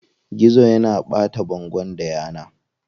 Gizo yana ɓata bangon da yana.